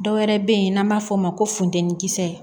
Dɔwɛrɛ be yen n'an b'a fɔ o ma ko funtɛni kisɛ